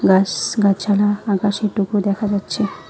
গাস-গাছাড়া আকাশের টুকরো দেখা যাচ্ছে।